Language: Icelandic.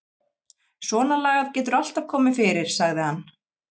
Svonalagað getur alltaf komið fyrir sagði hann.